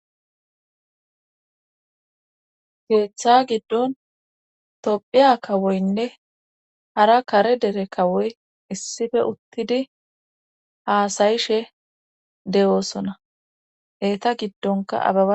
keeththa giddon tophiya kawoynne hara kare dere kawoy issife uttidi haasayishe de7oosona eta giddonkaaaa